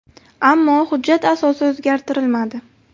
Ammo hujjat asosi o‘zgartirilmadi.